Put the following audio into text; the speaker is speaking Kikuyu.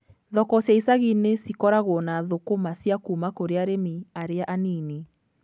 Thoko cia icagi-inĩ cikoragwo na thũkũma cia kuuma kũrĩ arĩmi arĩa a nini.